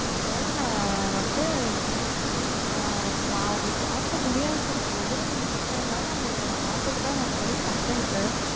அதுனால நா வந்து நா ஒங்களுக்கு மாத்த முடியாது சொல்லல இவ்ளோ தூரம் நீங்க கேக்குறது னால ஒங்களுக்கு மாத்துறதுக்காக try பண்ணுறேன் sir